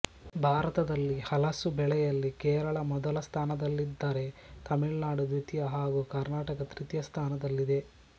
ಭಾರತದಲ್ಲಿ ಹಲಸು ಬೆಳೆಯಲ್ಲಿ ಕೇರಳ ಮೊದಲ ಸ್ಥಾನದಲ್ಲಿದ್ದರೆ ತಮಿಳುನಾಡು ದ್ವಿತೀಯ ಹಾಗೂ ಕರ್ನಾಟಕ ತೃತೀಯ ಸ್ಥಾನದಲ್ಲಿದೆ